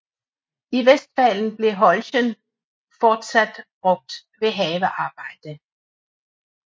I Westfalen bliver holschen fortsat brugt ved havearbejde